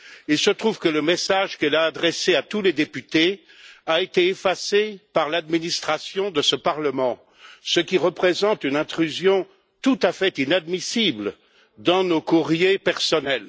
Il se trouve que le message qu'elle a adressé à tous les députés a été effacé par l'administration de ce Parlement, ce qui représente une intrusion tout à fait inadmissible dans nos courriers personnels.